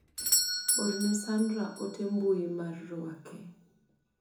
Orne Sandra ote mbui mar ruake.